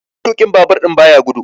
Matuƙin Babur ɗin baya gudu.